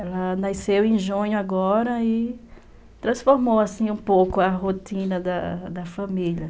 Ela nasceu em junho agora e transformou, assim, um pouco a rotina da da família.